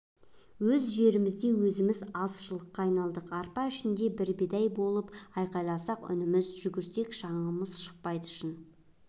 өз жерімізде өзіміз азшылыққа айналдық арпа ішінде бір бидай болып айқайласақ үніміз жүгірсек шаңымыз шықпайды шын